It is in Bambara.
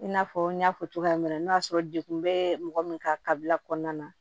I n'a fɔ n y'a fɔ cogoya min na n'o y'a sɔrɔ dekun bɛ mɔgɔ min ka kabila kɔnɔna na